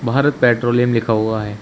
Bharat Petroleum लिखा हुआ है।